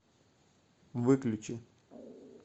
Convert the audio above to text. выключи